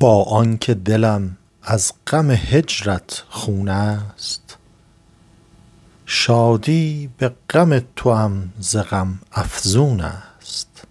با آن که دلم از غم هجرت خون است شادی به غم توام ز غم افزون است